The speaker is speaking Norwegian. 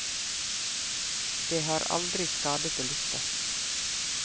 Det har aldri skadet å lytte.